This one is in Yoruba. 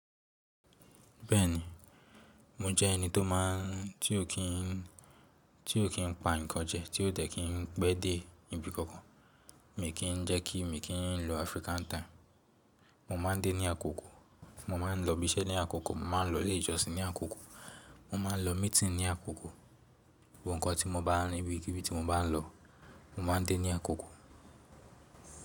Bẹ́ẹ̀ni, mo jẹ́ ẹni tó máa ń tí ó kí ń, tí ó kí ń pa nǹkan jẹ, tí ó dẹ̀ kí ń pẹ́ dé ibi kankan. Mi kì n jẹ́ kí mi kí ń lo African time. Mo má a ń dé ní àkókò, mo má a ń lọ ibiṣẹ́ ní àkókò, mo má a ń lọ ilé ìjọsìn ní àkókò, mo má a ń lọ meeting ní àkókò. Gbogbi nǹkan tí mo bá ní ibikíbí tí mo bá ń lọ, mo má a ń dé ní àkókò.